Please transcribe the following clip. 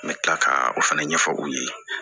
N bɛ tila ka o fana ɲɛfɔ u ye